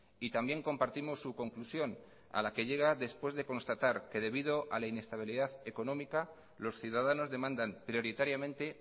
y también compartimos su conclusión a la que llega después de constatar que debido a la inestabilidad económica los ciudadanos demandan prioritariamente